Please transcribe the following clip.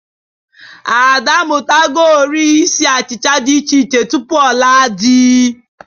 Ada amụtagori isi achicha dị iche iche tupu ọ laa dị.